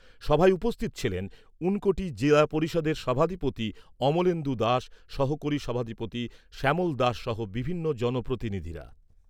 সভায় উপস্থিত ছিলেন ঊনকোটি জিলা পরিষদের সভাধিপতি অমলেন্দু দাস, সহকারী সভাধিপতি শ্যামল দাস সহ বিভিন্ন জনপ্রতিনিধিরা।